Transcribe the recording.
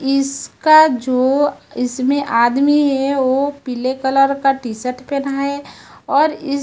इसका जो इसमें आदमी है वो पीले कलर का टी शर्ट पहना है और इस--